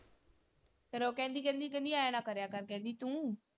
ਫਿਰ ਉਹ ਕਹਿੰਦੀ ਕਹਿੰਦੀ ਕਹਿੰਦੀ ਐਂ ਨਾ ਕਰਿਆ ਕਰ ਕਹਿੰਦੀ ਤੂੰ।